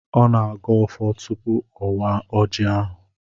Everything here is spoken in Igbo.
Ọ na-agọ ọfọ tupu ọ waa ọjị ahụ.